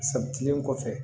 San kelen kɔfɛ